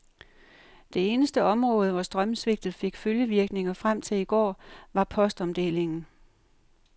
Det eneste område, hvor strømsvigtet fik følgevirkninger frem til i går, var postomdelingen.